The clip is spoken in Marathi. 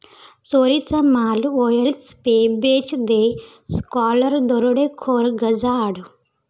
चोरीचा माल 'ओएलक्स पे बेच दे', स्कॉलर दरोडेखोर गजाआड